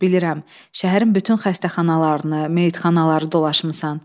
Bilirəm, şəhərin bütün xəstəxanalarını, meyitxanaları dolaşmısan.